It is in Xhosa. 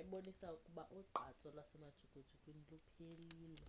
ebonisa ukuba ugqatso lwasemajukujukwini luphelile